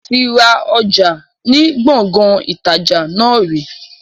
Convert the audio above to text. Moti ra ọjà ni Gbọ̀ngán ìtajà náà ri